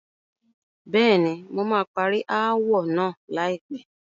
Bẹ́ẹ̀ni, mo máa parí ááwọ̀ náà láìpẹ́.